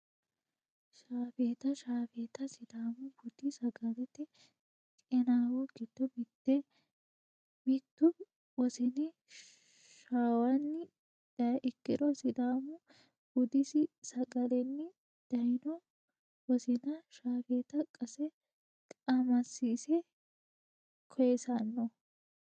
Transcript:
Shaaffetta shafeeta sidamu budi sagalete qinaawo gido mitete, mitu wosini shawanni dayi ikkiro sidaamu budisi sagale'ni dayino wosinna shaafeta qase qamasi'se koyisanno